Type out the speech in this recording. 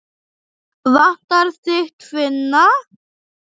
Vantar þig tvinna?